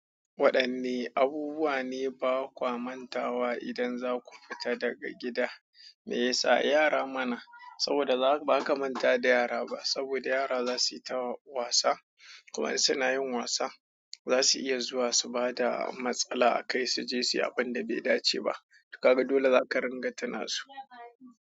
Waɗanne abubuwa ne ba kwa manta wa idan za ku fita daga gida? Me yasa? Yara mana. Saboda ba za ka manta da yara ba saboda yara za su yi ta wasa. Kuma in suna yin wasa. Za su iya zuwa su bada matsala a kai su je su yi abin da bai dace ba. Ka ga dole za ka ringa tunabsu.